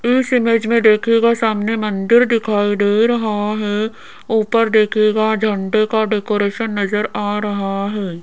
इस इमेज में देखिएगा सामने मंदिर दिखाई दे रहा है ऊपर देखिएगा झंडे का डेकोरेशन नजर आ रहा है।